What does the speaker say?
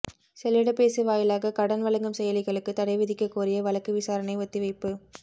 செல்லிடப்பேசி வாயிலாக கடன் வழங்கும் செயலிகளுக்கு தடைவிதிக்கக் கோரிய வழக்கு விசாரணை ஒத்திவைப்பு